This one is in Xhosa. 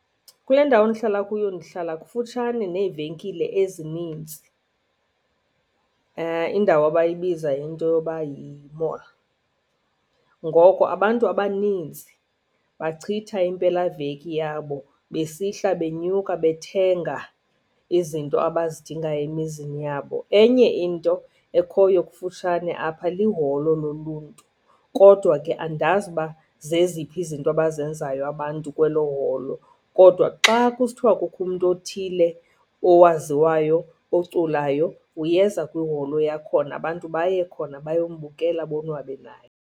Kule ndawo ndihlala kuyo ndihlala kufutshane neevenkile ezininzi, indawo abayibiza into yoba yi-mall. Ngoko abantu abaninzi bachitha impelaveki yabo besihla benyuka bethenga izinto abazidingayo emizini yabo. Enye into ekhoyo kufutshane apha, liholo loluntu kodwa ke andazi uba zeziphi izinto abazenzayo abantu kwelo holo. Kodwa xa kusithiwa kukho umntu othile owaziwayo oculayo uyeza kwiholo yakhona, abantu baye khona bayombukela, bonwabe naye.